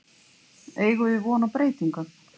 Eigum við von á breytingum?